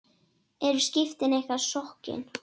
Eru skipin ykkar sokkin?